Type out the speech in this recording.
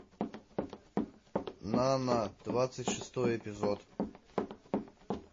нана двадцать шестой эпизод